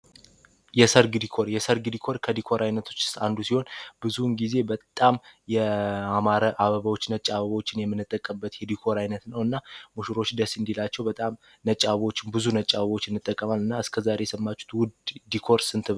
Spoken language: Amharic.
የሰርግ ዲኮር የሰርግ ዲኮር አይነቶች ውስጥ አንዱ ሲሆን ብዙ ውን ጊዜ በጣም ያማረ ነጭ አበባዎችን የምንጠቀምበት የዲኮር አይነት ነውና ሙሽሮች በጣም ደስ እንዲላቸው አበቦች ነጭ አበቦች እንጠቀማለን እና እስከ ዛሬ የሰማችሁት የዲኮር አይነት ስንት ነው?